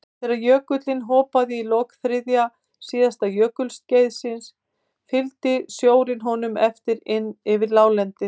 Þegar jökullinn hopaði í lok þriðja síðasta jökulskeiðs fylgdi sjórinn honum eftir inn yfir láglendið.